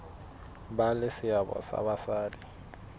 ba le seabo ha basadi